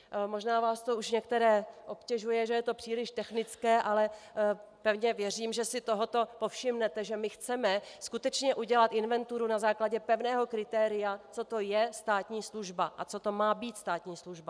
Možná vás to už některé obtěžuje, že je to příliš technické, ale pevně věřím, že si tohoto povšimnete, že my chceme skutečně udělat inventuru na základě pevného kritéria, co to je státní služba a co to má být státní služba.